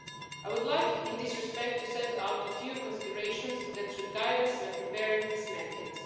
I would like in this respect to set out a few considerations that should guide us when preparing this mandate.